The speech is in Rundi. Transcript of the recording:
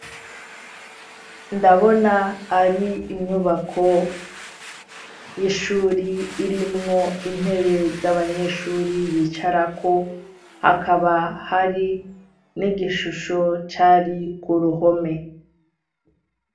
Ndabona ari inyubako y'ishure irimwo intebe z'abanyeshure bicarako, hakaba hari n'igishusho cari ku ruhome.